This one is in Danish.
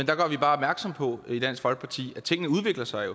der gør vi bare opmærksom på i dansk folkeparti at tingene udvikler sig